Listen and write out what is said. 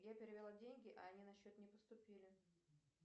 я перевела деньги а они на счет не поступили